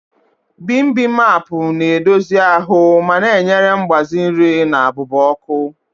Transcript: Bimbimapu na edozi ahụ ma na enyere mgbaze nri na abụba ọkụ.